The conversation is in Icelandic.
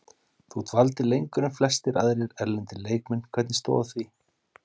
Þú dvaldir lengur en flestir aðrir erlendir leikmenn, hvernig stóð að því?